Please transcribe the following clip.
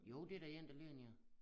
Jo det da en der ligger ned